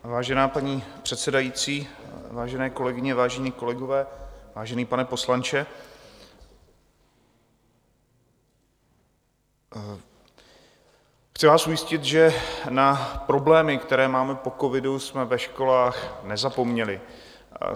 Vážená paní předsedající, vážené kolegyně, vážení kolegové, vážený pane poslanče, chci vás ujistit, že na problémy, které máme po covidu, jsme ve školách nezapomněli.